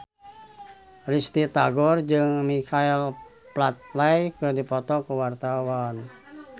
Risty Tagor jeung Michael Flatley keur dipoto ku wartawan